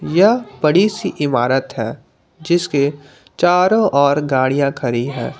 यह बड़ी सी इमारत है जिसके चारों ओर गाड़ियां खड़ी है।